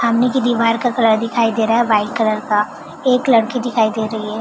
सामने की दीवार का कलर दिखाई दे रहा है वाइट कलर का एक लड़की दिखाई दे रही है।